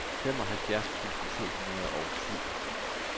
femoghalvfjerds tusind to hundrede og syv